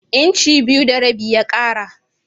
Inci biyu da rabi ya ƙara.